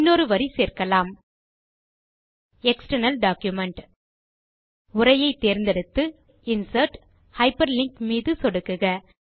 இன்னொரு வரி சேர்க்கலாம் எக்ஸ்டர்னல் டாக்குமென்ட் உரையை தேர்ந்தெடுத்து இன்சர்ட் Hyperlinkமீது சொடுக்குக